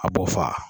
A b'o fa